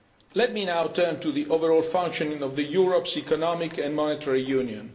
Let me now turn to the overall functioning of Europe's Economic and Monetary Union.